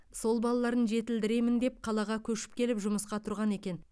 сол балаларын жетілдіремін деп қалаға көшіп келіп жұмысқа тұрған екен